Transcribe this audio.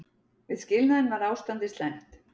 Við skilnaðinn var ástandið slæmt.